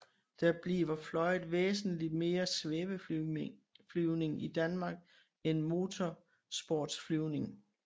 Der bliver fløjet væsentligt mere svæveflyvning i Danmark end motorsportsflyvning